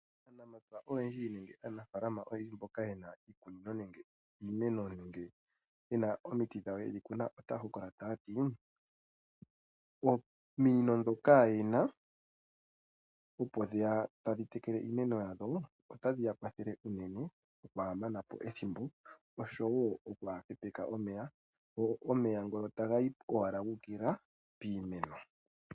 Aanamapya oyendji nenge aanafaalama mboka ye na iikunino nenge omeno nenge omiti dhawo yedhi kuna otaya hokolola taya ti: "Ominino ndhoka ye na opo dhe ya tadhi tekele iimeno yawo otadhi ya kwathele unene nokwaa mana po ethimbo nosho wo nokwaa hepeka omeya. Omeya ngoka taga yi owala gu ukilila piimeno."